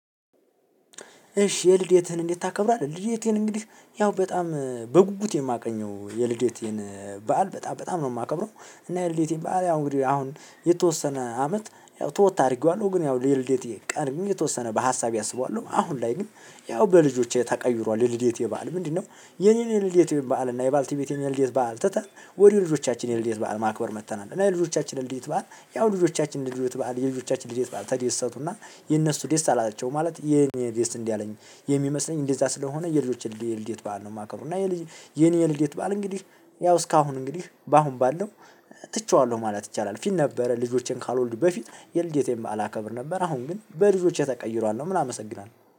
እሺ የልዴትህን እንዴት ታከብራለህ? የልዴቴን እንግዲህ ያው በጣም በጉጉት የማገኘው የልዴቴን በዓል በጣም በጣም ነው የማከብረው። እና የልዴቴን በዓል አሁን እንግዲህ አሁን የተወሰነ አመት ተወት አድርጌዋለሁ። ግን ያው የልዴተን ቀን የተወሰነ በሀሳቤ አስበዋለሁ። አሁን ላይ ግን ያው በልጆቼ ተቀይሯል የልዴት በዓል ምንድነው የኔን የልዴት በዓል እና የባልትቤቴን የልዴት በዓል ትተን ወደ ልጆቻችን የልዴት በዓል ማክበር መጥተናል እና የልዴት በዓል ያው ልጆቻችንን በዓል የልጆቻችንን የልደት በዓል ተደሰቱና እነሱ ደስ አላቸው ማለት የኔ ደስ እንዳለኝ የሚመስለኝ እንደዛ ስለሆነ የልጆች የልዴት በዓል ነው የማከብረው እና የኔ የልዴት በዓል እንግዲህ ያው እስካሁን እንግዲህ በአሁን ባለው ትቼዋለሁ ማለት ይቻላል ፊት ነበረ ልጆቼን ሳልወልዱ በፊት የልደቴን በዓል አከብር ነበር አሁን ግን በልጆቼ ተቀይሯል ነው ምል አመሰግናለሁ።